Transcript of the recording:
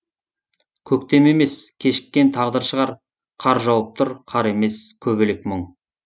көктем емес кешіккен тағдыр шығар қар жауып тұр қар емес көбелек мұң